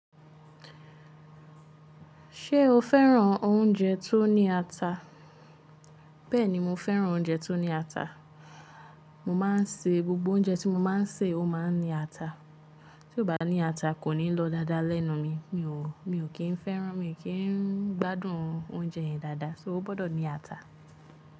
Ṣé o féràn oúnjẹ tó ní ata? Bẹ́ẹ̀ ni, mo féràn oúnjẹ tó ní ata. Mo máa ń se gbogbo oúnjẹ tí mo máa ń sè ó máa ń ní ata. Tí kò bá ní ata kò ní lọ dáadáa lẹ́nu mi. Mi ò kì í féràn, mi ò kí ń gbádùn oúnjẹ yẹn dáadáa, ṣé o gbọ́dọ̀ ní ata?